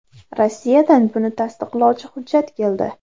Rossiyadan buni tasdiqlovchi hujjat keldi.